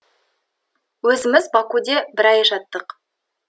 өзіміз бакуде бір ай жаттық